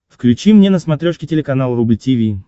включи мне на смотрешке телеканал рубль ти ви